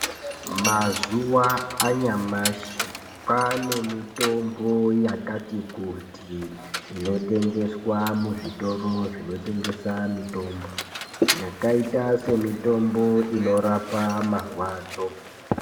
Mazuwa anyamashi kwane mitombo yakati kuti inotengeswa muzvitoro zvinotengesa mitombo yakaita semitombo inorapa marwadzo.